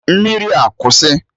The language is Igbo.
Mmiri a kwụsị!